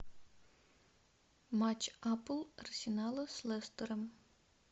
матч апл арсенала с лестером